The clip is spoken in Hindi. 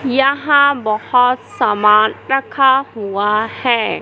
यहां बहोत सामान रखा हुआ है।